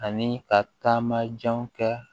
Ani ka taama janw kɛ